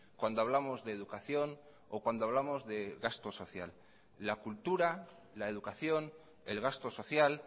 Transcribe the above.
cuando hablamos de educación o cuando hablamos de gasto social la cultura la educación el gasto social